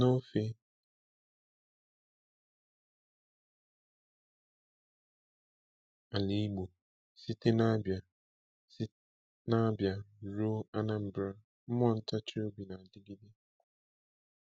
N’ofe ala Igbo, site na Abia site na Abia ruo Anambra, mmụọ ntachi obi na-adịgide.